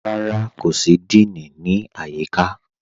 Kò sí díìní, kò sí ní ayííkà.